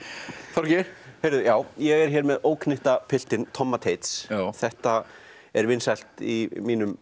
Þorgeir já ég er hér með óknyttapiltinn Tomma Teits þetta er vinsælt í